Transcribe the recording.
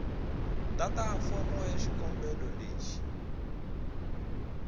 tata fomo ya xikombelo leyi